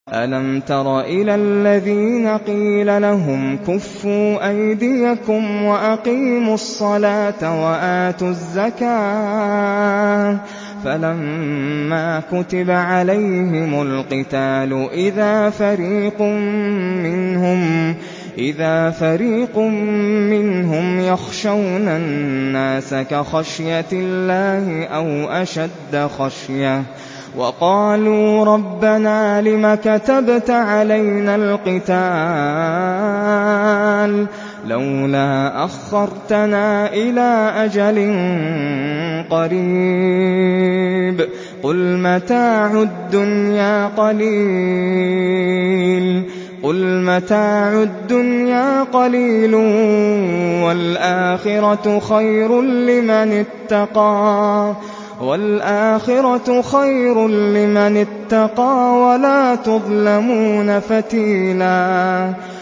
أَلَمْ تَرَ إِلَى الَّذِينَ قِيلَ لَهُمْ كُفُّوا أَيْدِيَكُمْ وَأَقِيمُوا الصَّلَاةَ وَآتُوا الزَّكَاةَ فَلَمَّا كُتِبَ عَلَيْهِمُ الْقِتَالُ إِذَا فَرِيقٌ مِّنْهُمْ يَخْشَوْنَ النَّاسَ كَخَشْيَةِ اللَّهِ أَوْ أَشَدَّ خَشْيَةً ۚ وَقَالُوا رَبَّنَا لِمَ كَتَبْتَ عَلَيْنَا الْقِتَالَ لَوْلَا أَخَّرْتَنَا إِلَىٰ أَجَلٍ قَرِيبٍ ۗ قُلْ مَتَاعُ الدُّنْيَا قَلِيلٌ وَالْآخِرَةُ خَيْرٌ لِّمَنِ اتَّقَىٰ وَلَا تُظْلَمُونَ فَتِيلًا